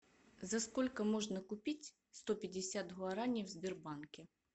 за сколько можно купить сто пятьдесят гуарани в сбербанке